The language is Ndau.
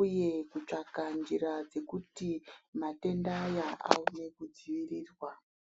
uye kutsvaka njira dzekuti matenda aya aone kudzirirwa.